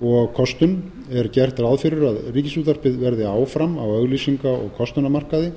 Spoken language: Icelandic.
og kostun er gert ráð fyrir að ríkisútvarpið verði áfram á auglýsinga og kostunarmarkaði